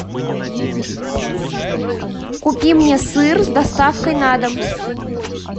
купи мне сыр с доставкой на дом